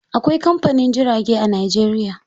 Akwai kamfanin jirage a Najeriya.